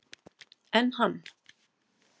Enn hann